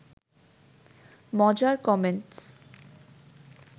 মজার কমেন্টস